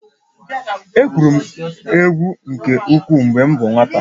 Egwuru egwu nke ukwuu mgbe m bụ nwata